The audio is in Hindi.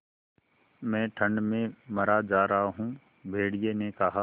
मैं ठंड में मरा जा रहा हूँ भेड़िये ने कहा